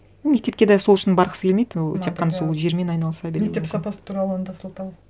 мектепке де сол үшін барғысы келмейді ол тек қана сол жермен айналыса беру мектеп сапасы туралы онда сылтау